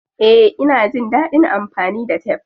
Eh, ina jin dadin amfani da tef.